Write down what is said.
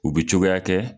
U bi cogoya kɛ